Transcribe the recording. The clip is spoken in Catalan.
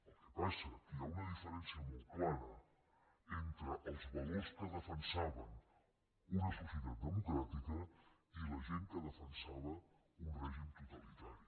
el que passa que hi ha una diferència molt clara entre els valors que defensaven una societat democràtica i la gent que defensava un règim totalitari